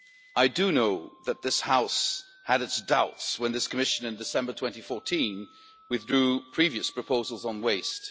I do know that this House had its doubts when this Commission in December 2014 withdrew previous proposals on waste.